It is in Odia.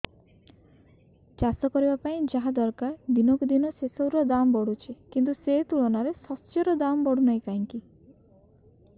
ଚାଷ କରିବା ପାଇଁ ଯାହା ଦରକାର ଦିନକୁ ଦିନ ସେସବୁ ର ଦାମ୍ ବଢୁଛି କିନ୍ତୁ ସେ ତୁଳନାରେ ଶସ୍ୟର ଦାମ୍ ବଢୁନାହିଁ କାହିଁକି